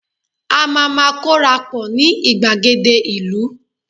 a ma ma korapo ni igbagede ìlú